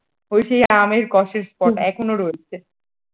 ঐ সেই আমের কোষের spot এখনো রয়েছে।